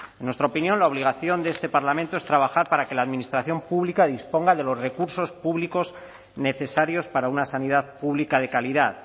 en nuestra opinión la obligación de este parlamento es trabajar para que la administración pública disponga de los recursos públicos necesarios para una sanidad pública de calidad